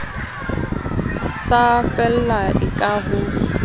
sa fellang e ka ho